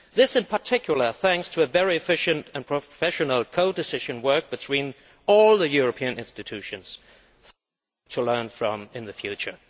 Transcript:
This is, in particular, thanks to very efficient and professional co decision work between all the European institutions, which is something to learn from in the future.